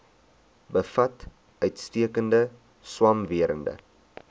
bevat uitstekende swamwerende